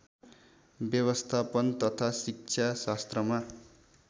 व्यवस्थापन तथा शिक्षाशास्त्रमा